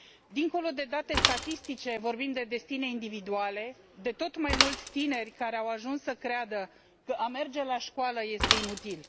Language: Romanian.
Dincolo de date statistice, vorbim de destine individuale, de tot mai mulți tineri care au ajuns să creadă că a merge la școală este inutil.